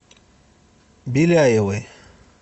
беляевой